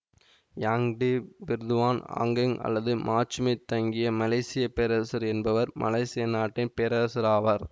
Yang di Pertuan Agong அல்லது மாட்சிமை தங்கிய மலேசிய பேரரசர் என்பவர் மலேசியா நாட்டின் பேரரசர் ஆவார்